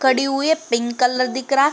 खड़ी हुई है। पिंक कलर दिख रहा --